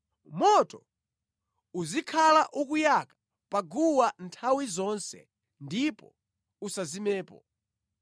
Moto uzikhala ukuyaka pa guwa nthawi zonse ndipo usazimepo.